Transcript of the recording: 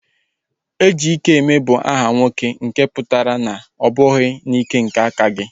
Ejikeme bụ aha nwoke nke pụtara na ọ bụghị n'ike nke aka gị